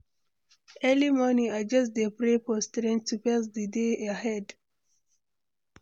Early morning, I just dey pray for strength to face di day ahead.